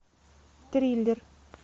триллер